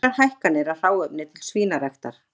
Miklar hækkanir á hráefni til svínaræktar